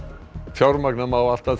fjármagna má allt að